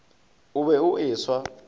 o be o e swa